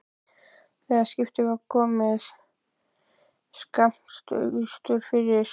Þegar skipið var komið skammt austur fyrir